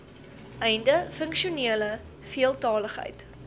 einde funksionele veeltaligheid